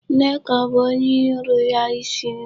Nne ka ọ bụ ọrụ ya isi nri.